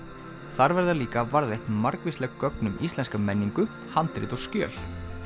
þar verða líka varðveitt margvísleg gögn um íslenska menningu handrit og skjöl